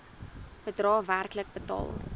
bedrae werklik betaal